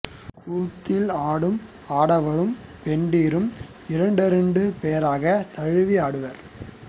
கூத்தில் ஆடும் ஆடவரும் பெண்டிரும் இரண்டிரண்டு பேராகத் தழுவி ஆடுவர்